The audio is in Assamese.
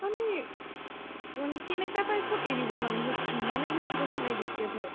মানে মানে কেনেকুৱা type ত এৰিব মানে সিহতে ইমানে বেছি দেখুন addicted হয়